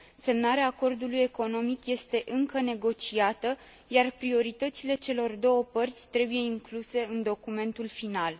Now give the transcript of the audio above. Semnarea acordului economic este încă negociată, iar prioritățile celor două părți trebuie incluse în documentul final.